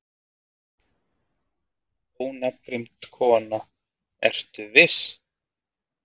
Ónafngreind kona: Ertu viss?